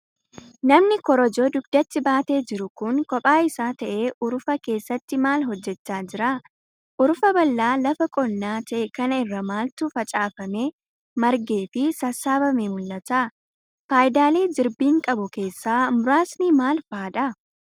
Namni korojoo dugdatti baatee jiru kun kophaa isaa ta'ee urufa keessatti maal hojjachaa jira? Urufa bal'aa lafa qonnaa ta'e kana irra maaltu facaafamee, margee fi sasssaabamee mul'ata? Faayidaalee jirbiin qabu keessaa muraasni maal faa dha?